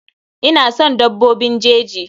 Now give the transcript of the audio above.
Ina son dabbobin jeji.